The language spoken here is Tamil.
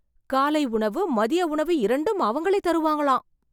காலை உணவு, மதிய உணவு இரண்டும் அவங்களே தருவாங்களாம்.